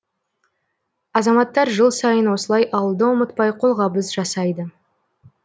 азаматтар жыл сайын осылай ауылды ұмытпай қолғабыс жасайды